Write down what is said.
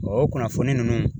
o kunnafoni ninnu